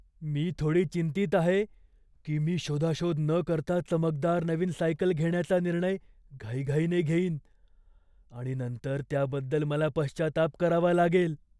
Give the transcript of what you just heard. मी थोडी चिंतीत आहे की मी शोधाशोध न करता चमकदार नवीन सायकल घेण्याचा निर्णय घाईघाईने घेईन आणि नंतर त्याबद्दल मला पश्चाताप करावा लागेल.